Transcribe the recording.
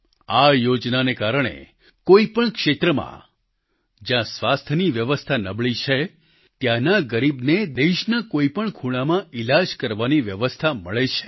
આ યોજનાને કારણે કોઈપણ ક્ષેત્રમાં જ્યાં સ્વાસ્થ્યની વ્યવસ્થા નબળી છે ત્યાંના ગરીબને દેશના કોઈપણ ખૂણામાં ઈલાજ કરવાની વ્યવસ્થા મળે છે